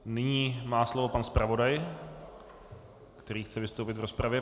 Nyní má slovo pan zpravodaj, který chce vystoupit v rozpravě.